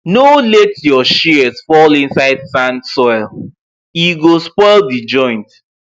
no let your shears fall inside sand soil e go spoil the joint